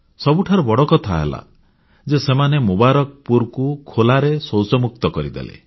ସବୁଠାରୁ ବଡ଼ କଥା ହେଲା ଯେ ସେମାନେ ମୁବାରକପୁରକୁ ଖୋଲା ଶୌଚମୁକ୍ତ କରିଦେଲେ